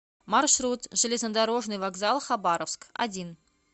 маршрут железнодорожный вокзал хабаровск один